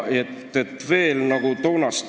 Ongi kõik?